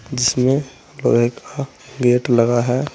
जिसमें लोहे का गेट लगा है।